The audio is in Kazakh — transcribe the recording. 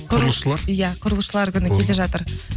құрылысшылар иә құрылысшылар күні келе жатыр